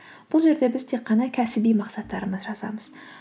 бұл жерде біз тек қана кәсіби мақсаттарымызды жазамыз